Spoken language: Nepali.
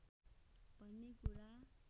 भन्ने कुरा